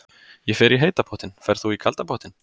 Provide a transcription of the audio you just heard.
Ég fer í heita pottinn. Ferð þú í kalda pottinn?